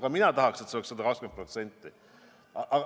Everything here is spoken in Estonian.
Ka mina tahaks, et see oleks 120%.